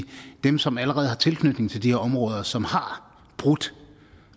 dem som allerede har tilknytning til de her områder og som har brudt